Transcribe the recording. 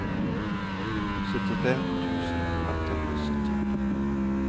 syttitre tusen ett hundre og syttien